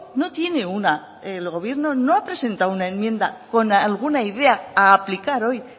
no tiene una el gobierno no ha presentado una enmienda con alguna idea a aplicar hoy